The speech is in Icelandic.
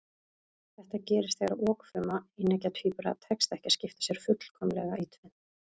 Þetta gerist þegar okfrumu eineggja tvíbura tekst ekki að skipta sér fullkomlega í tvennt.